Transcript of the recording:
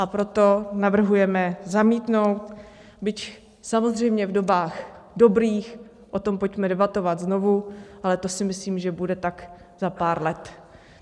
A proto navrhujeme zamítnout, byť samozřejmě v dobách dobrých o tom pojďme debatovat znovu, ale to si myslím, že bude tak za pár let.